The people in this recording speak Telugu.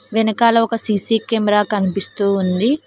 వెనకాల ఒక సి_సి కెమెరా కనిపిస్తూ ఉంది.